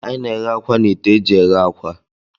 Anyị na-eghe akwa na ite eji eghe akwa.